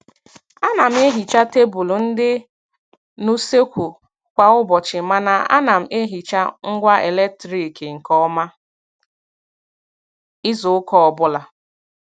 A na m ehicha tebụl ndị n'useekwu kwa ụbọchị, mana a na m ehicha ngwa eletrik nke ọma izuụka ọbụla.